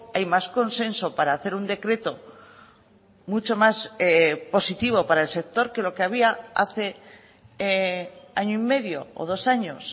hay más consenso para hacer un decreto mucho más positivo para el sector que lo que había hace año y medio o dos años